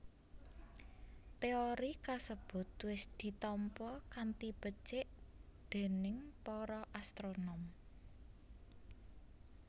Téori kasebut wis ditampa kanthi becik déning para astronom